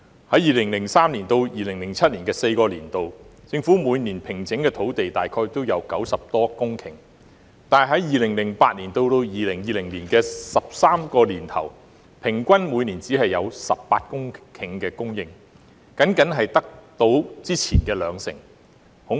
在2003年至2007年4個年度，政府每年平整的土地大概有90多公頃，但在2008年至2020年的13個年頭，平均每年只有18公頃供應，僅僅只及先前的兩成。